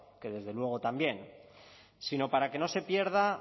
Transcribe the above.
que desde luego también sino para que no se pierda